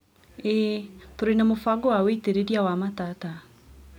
ĩĩ, tũrĩ na mũbango wa wĩitĩrĩria wa matata